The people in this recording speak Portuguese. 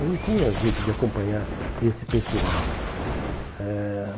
Eu não tinha jeito de acompanhar esse pessoal. Eh